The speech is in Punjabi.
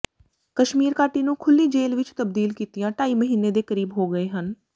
ਕਸ਼ਮੀਰ ਘਾਟੀ ਨੂੰ ਖੁੱਲ੍ਹੀ ਜੇਲ੍ਹ ਵਿੱਚ ਤਬਦੀਲ ਕੀਤਿਆਂ ਢਾਈ ਮਹੀਨੇ ਦੇ ਕਰੀਬ ਹੋ ਗਏ ਹਨ